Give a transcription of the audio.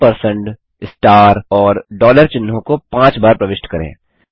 ampersand star और dollar चिह्नों को पाँच बार प्रविष्ट करें